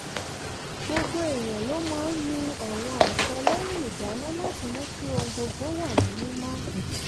gbogbo èèyàn ló máa ń nu àwọn àtẹ lẹ́yìn ìdáná láti mú kí ohun gbogbo wà ní mímọ́